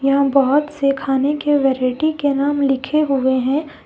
एवं बहोत से खाने के वैरायटी के नाम लिखे हुए हैं।